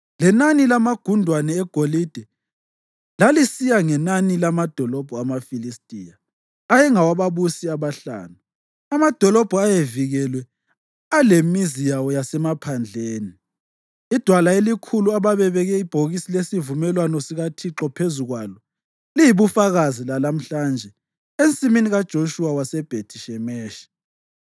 Lenani lamagundwane egolide lalisiya ngenani lamadolobho amaFilistiya ayengawababusi abahlanu, amadolobho ayevikelwe alemizi yawo yasemaphandleni. Idwala elikhulu ababebeke ibhokisi lesivumelwano sikaThixo phezu kwalo, liyibufakazi lalamhlanje ensimini kaJoshuwa waseBhethi-Shemeshi.